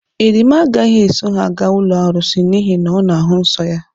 Erimma agaghị eso ha aga̧ ụlọ arụsị n'ihe na ọ na-ahụ nsọ ya.